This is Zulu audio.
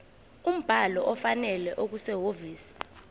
umbhalo ofanele okusehhovisi